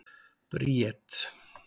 Bríet